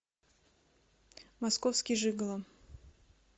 московский жиголо